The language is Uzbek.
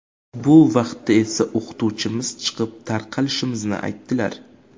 Bu vaqtda esa o‘qituvchimiz chiqib, tarqalishimizni aytdilar.